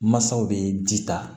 Mansaw bɛ ji ta